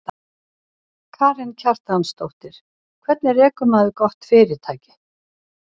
Karen Kjartansdóttir: Hvernig rekur maður gott fyrirtæki?